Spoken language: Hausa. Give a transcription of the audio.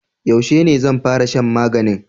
Yaushe ne zan fara shan maganin?